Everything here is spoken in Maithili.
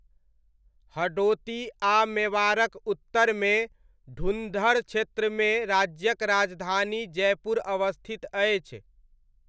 हडोती आ मेवाड़क उत्तरमे, ढुन्धर क्षेत्रमे, राज्यक राजधानी जयपुर अवस्थित अछि।